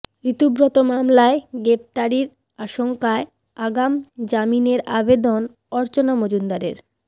ঋতব্রত মামলায় গ্রেফতারির আশঙ্কায় আগাম জামিনের আবেদন অর্চনা মজুমদারের